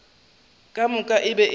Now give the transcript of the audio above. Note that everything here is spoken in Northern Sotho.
ka moka e be e